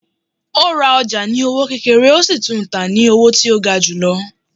O rá ọja ní owó kékéré, o sí tún tá ní owó tí o gá julọ